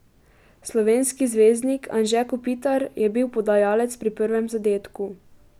Slovenski zvezdnik Anže Kopitar je bil podajalec pri prvem zadetku.